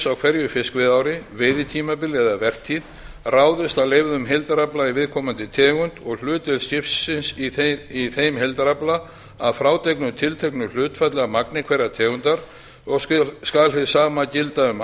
á hverju fiskveiðiári veiðitímabil eða vertíð ráðist af leyfðum heildarafla í viðkomandi tegund og hlutverk skipsins í þeim heildarafla að frádregnu tilteknu hlutfalli af magni hverrar tegundar og skal hið sama gilda um